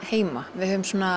heima við